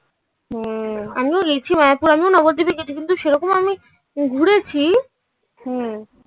ও আমিও গেছি মায়াপুর আমিও নবদ্বীপে গেছি. কিন্তু সেরকম আমি ঘুরেছি. হুম.